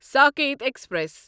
Saket express